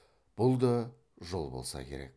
бұ да жол болса керек